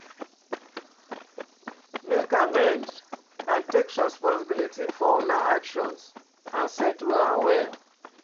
Make amend and take responsibility for una actions and settle am well.